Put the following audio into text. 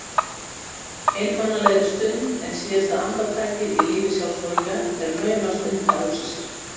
Einmanalegri stund en síðasta andartakið í lífi sjálfsmorðingja er naumast unnt að hugsa sér.